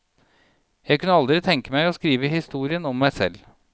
Jeg kunne aldri tenke meg å skrive historien om meg selv.